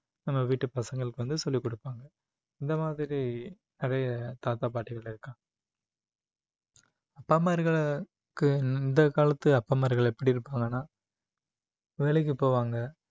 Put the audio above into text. நம்ம வீட்டு பசங்களுக்கு வந்து சொல்லிக் கொடுப்பாங்க இந்த மாதிரி நிறைய தாத்தா பாட்டிகள் இருக்காங்க அப்பா அம்மா இருக்கிற இந்த காலத்து அப்பன்மார்கள் எப்படி இருப்பாங்கன்னா வேலைக்கு போவாங்க